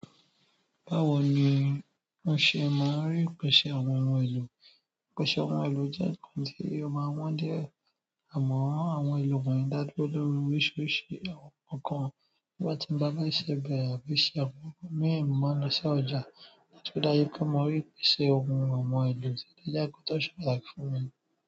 Báwo ni o ṣe máa rí ìpèsè àwọn ohun èlò? Ìpèsè àwọn ohun èlò jẹ́ nǹkan tí o máa wọ́n diẹ. Àmọ̀ àwọn ohun èlò kàn dá lólóru oríṣiríṣi ọkàn. Bí mo bá ti ń bá bàbá ṣe bẹ̀rẹ̀ àbí ṣe ohun mí ń máa lọ sí ọjà láti kọ dájú pé mo rí ìpèsè ohun àwọn ohun èlò tí ó lè jákó tó ṣe pàtàkì fún mi.